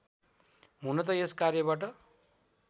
हुन त यस कार्यबाट